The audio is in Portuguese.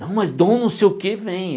Não, mas Dom não sei o quê vem.